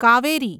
Kaveri